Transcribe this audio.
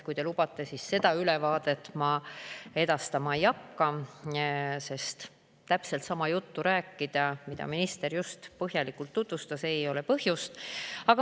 Kui te lubate, siis seda ülevaadet ma edastama ei hakka, sest täpselt sama juttu, mida minister just põhjalikus tutvustuses rääkis, ei ole põhjust.